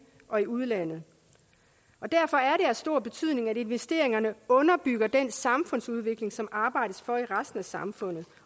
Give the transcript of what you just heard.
og i udlandet derfor er stor betydning at investeringerne underbygger den samfundsudvikling som der arbejdes for i resten af samfundet